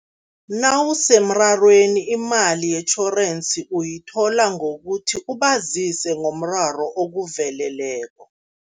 Nawusemrarweni imali yetjhorensi uyithola ngokuthi ubazise ngomraro okuveleleko.